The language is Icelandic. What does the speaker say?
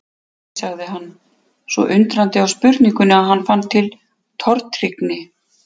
Nei. sagði hann, svo undrandi á spurningunni að hann fann til tortryggni.